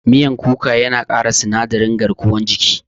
Miyan kuka yana ƙara sinadarin garkuwan jiki.